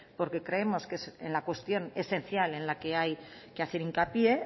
porque creemos que es la cuestión esencial en la que hay que hacer hincapié